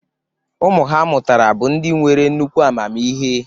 Ụmụ ha mụtara bụ ndị nwere nnukwu amamihe.